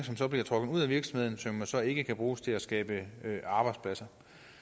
som bliver trukket ud af virksomheden og som jo så ikke kan bruges til at skabe arbejdspladser